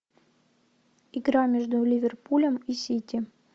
игра между ливерпулем и сити